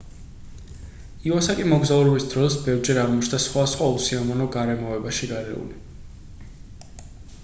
ივასაკი მოგზაურობის დროს ბევრჯერ აღმოჩნდა სხვადასხვა უსიამოვნო გარემოებაში გარეული